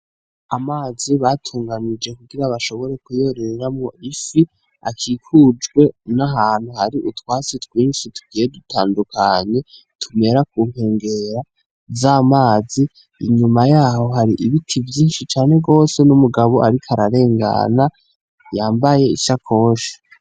Amazi batunganije kugira bashobore kuyororeramwo ifi, akikujwe n'ahantu hari utwatsi twinshi tugiye dutandukanye tumera ku nkengera z'amazi, inyuma yaho hari ibiti vyinshi cane gose n'umugabo ariko ararengana yambaye ishakoshi.